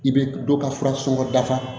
I bɛ dɔ ka fura sɔngɔ dafa